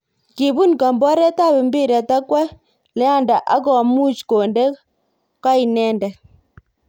Kibun komboret ap mpiret akwo Leander ak komuch konde ko inendet.